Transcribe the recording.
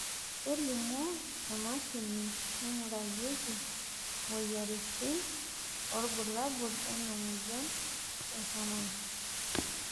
kelimu emashini naingurarieki imoyiaritin irbulabol lena moyian e Herrmann